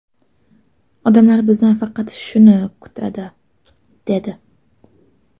Odamlar bizdan faqat shuni kutadi, – dedi.